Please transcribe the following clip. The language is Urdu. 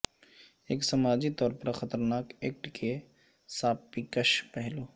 ایک سماجی طور پر خطرناک ایکٹ کے ساپیکش پہلو